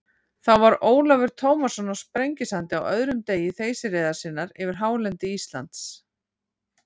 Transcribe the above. Þá var Ólafur Tómasson á Sprengisandi á öðrum degi þeysireiðar sinnar yfir hálendi Íslands.